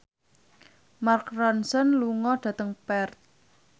Mark Ronson lunga dhateng Perth